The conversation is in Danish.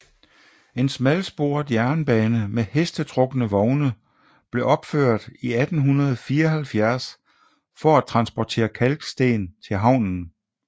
En smalsporet jernbane med hestetrukne vogne blev opført 1874 for at transportere kalksten til havnen